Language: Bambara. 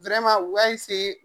u y'a